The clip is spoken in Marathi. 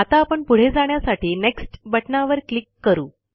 आता आपण पुढे जाण्यासाठी नेक्स्ट बटणावर क्लिक करू